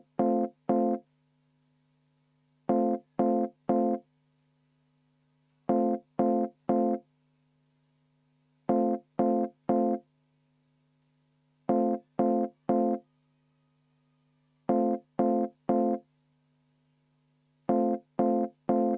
Teeks kümneminutise vaheaja, enne kui hakkame hääletama, palun!